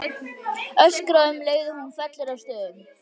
Öskra um leið og hún fellur að stöfum.